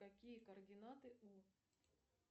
какие координаты у